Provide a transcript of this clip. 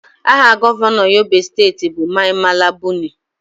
Aha Gọvanọ Yobe steeti bụ Mai Mala Buni